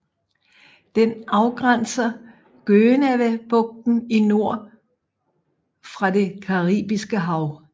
Den afgrænser Gonâvebugten i nord fra det caribiske hav